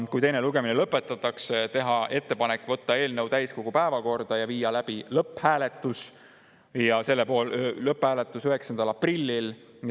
Kui teine lugemine lõpetatakse, on meil ettepanek võtta eelnõu täiskogu päevakorda ja viia läbi lõpphääletus 9. aprillil.